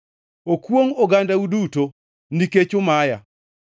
Okwongʼ, ogandau duto, nikech umaya.”